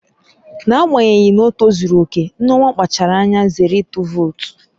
N'agbanyeghị na ọ tozuru oke, Nneoma kpachaara anya zere ịtụ vootu